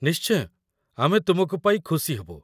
ନିଶ୍ଚୟ, ଆମେ ତୁମକୁ ପାଇ ଖୁସି ହେବୁ ।